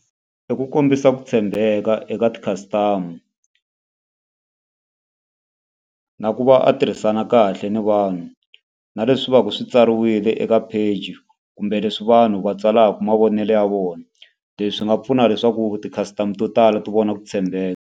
I ku kombisa ku tshembeka eka ti-custom na ku va a tirhisana kahle ni vanhu. Na leswi va ka swi tsariwile eka page, kumbe leswi vanhu va tsalaka mavonelo ya vona. Leswi nga pfuna leswaku ti-customer to tala ti vona ku tshembeka.